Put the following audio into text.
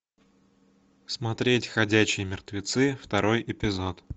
смотреть ходячие мертвецы второй эпизод